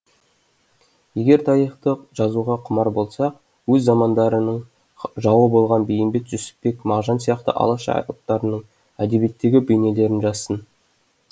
егер тарихты жазуға құмар болса өз замандарының жауы болған бейімбет жүсіпбек мағжан сияқты алаш алыптарының әдебиеттегі бейнелерін жазсын